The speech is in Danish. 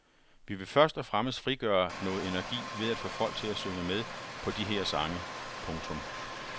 Vi vil først og fremmest frigøre noget energi ved at få folk til at synge med på de her sange. punktum